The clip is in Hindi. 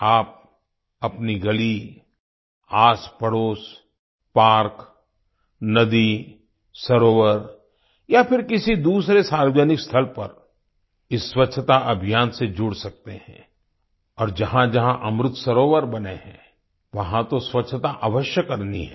आप अपनी गली आसपड़ोस पार्क नदी सरोवर या फिर किसी दूसरे सार्वजनिक स्थल पर इस स्वच्छता अभियान से जुड़ सकते हैं और जहाँजहाँ अमृत सरोवर बने हैं वहाँ तो स्वच्छता अवश्य करनी है